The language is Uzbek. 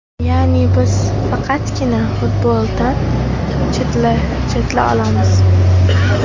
Ya’ni, biz faqatgina futboldan chetlata olamiz.